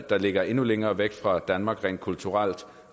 der ligger endnu længere væk fra danmark rent kulturelt